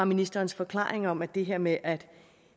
ministerens forklaring om at det her med at